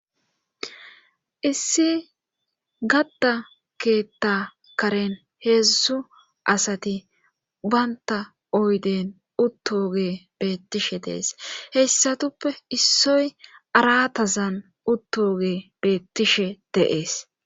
Issi gatta keetta karen heedzdzu asati baynta oyden uttoge beettishe dees heyssatuppe issoy aratazan uttoge beettishe deees